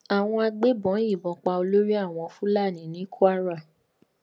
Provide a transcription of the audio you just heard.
àwọn agbébọn yìnbọn pa olórí àwọn fúlàní ní kwara